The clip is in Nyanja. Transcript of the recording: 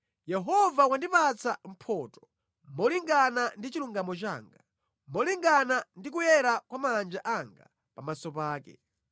Yehova wandipatsa mphotho molingana ndi chilungamo changa, molingana ndi kuyera kwa manja anga pamaso pake.